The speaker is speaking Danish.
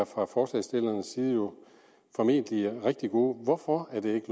fra forslagsstillernes side er jo formentlig rigtig gode hvorfor er det